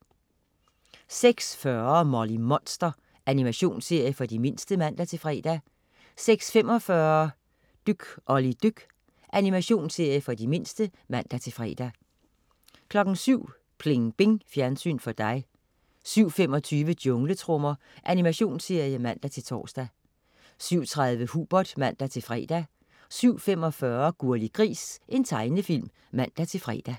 06.40 Molly Monster. Animationsserie for de mindste (man-fre) 06.45 Dyk Olli dyk. Animationsserie for de mindste (man-fre) 07.00 Pling Bing. Fjernsyn for dig 07.25 Jungletrommer. Animationsserie (man-tors) 07.30 Hubert (man-fre) 07.45 Gurli Gris. Tegnefilm (man-fre)